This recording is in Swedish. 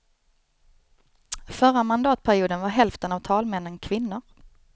Förra mandatperioden var hälften av talmännen kvinnor.